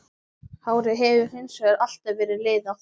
Hárið hefur hins vegar alltaf verið liðað.